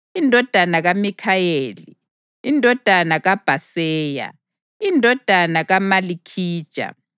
indodana kaMikhayeli, indodana kaBhaseya, indodana kaMalikhija,